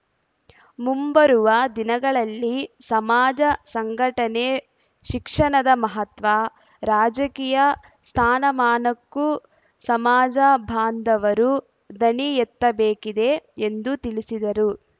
ಮುಂಬರುವ ದಿನಗಳಲ್ಲಿ ಸಮಾಜ ಸಂಘಟನೆ ಶಿಕ್ಷಣದ ಮಹತ್ವ ರಾಜಕೀಯ ಸ್ಥಾನಮಾನಕ್ಕೂ ಸಮಾಜ ಬಾಂಧವರು ಧ್ವನಿ ಎತ್ತಬೇಕಿದೆ ಎಂದು ತಿಳಿಸಿದರು